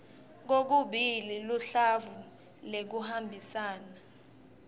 kokubili luhlavu loluhambisana